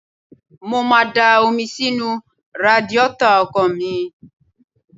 Mo má a da omi sínú radiátọ̀ ọkọ̀ mi.